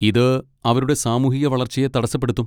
ഇത് അവരുടെ സാമൂഹിക വളർച്ചയെ തടസ്സപ്പെടുത്തും.